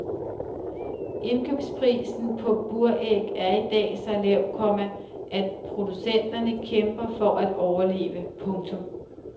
Indkøbsprisen på buræg er i dag så lav, komma at producenterne kæmper for at overleve. punktum